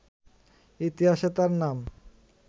ইতিহাসে তার নাম